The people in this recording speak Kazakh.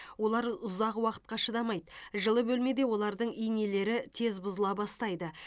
олар ұзақ уақытқа шыдамайды жылы бөлмеде олардың инелері тез бұзыла бастайды